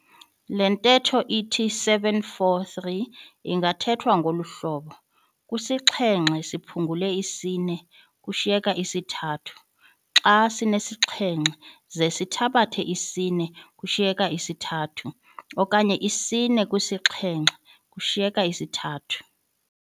Le ntetho ithi 7 - 4 3 ingathethwa ngolu hlobo "kwisixhenxe siphungule isine kushiyeka isithathu," "xa sinesixhenxe ze sithabathe isine kushiyeka isithathu," okanye "isine kwisixhenxe kushiyeka isithathu."